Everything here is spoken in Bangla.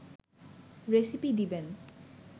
রেসিপি দিবেন